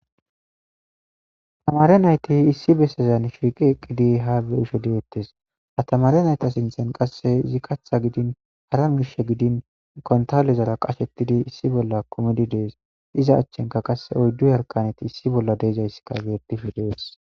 tamare nayti issi bessezan shiiqi eqqidi haabe isho deettes atamare nayta sinthen qasse izi katha gidin hara mishe gidin kontalezara qashettidi issi bolla komididees iza achchenka qasse oyddu harkaneti issi bolla deezayssi ka geetif dees